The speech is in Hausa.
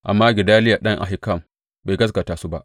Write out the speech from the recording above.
Amma Gedaliya ɗan Ahikam bai gaskata su ba.